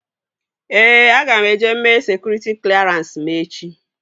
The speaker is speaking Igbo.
Ee, aga m eje mee sekụritị klerans m echi